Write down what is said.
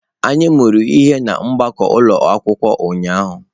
Anyị mụrụ ihe na gbakọọ ụlọ akwụkwọ ụnyahụ.